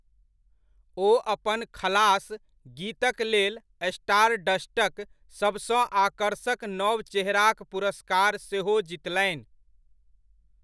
ओ अपन 'खलास' गीतक लेल स्टारडस्टक सबसँ आकर्षक नव चेहराक पुरस्कार सेहो जितलनि।